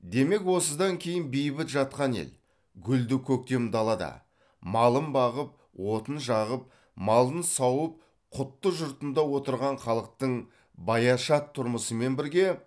демек осыдан кейін бейбіт жатқан ел гүлді көктем далада малын бағып отын жағып малын сауып құтты жұртында отырған халықтың баяшат тұрмысымен бірге